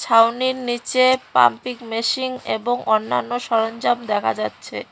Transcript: ছাউনির নিচে pumping machine এবং অন্যান্য সরঞ্জাম দেখা যাচ্ছে।